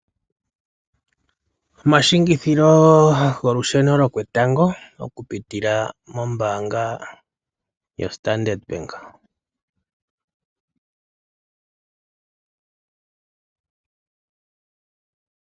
Omatseyitho golusheno lwoketango oku pitila mombaanga yoStandard bank.